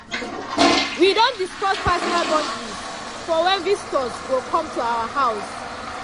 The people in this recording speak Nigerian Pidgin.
we don discuss personal boundaries for when visitors go come to our house.